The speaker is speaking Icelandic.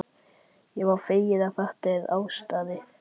Ég verð feginn þegar þetta er afstaðið.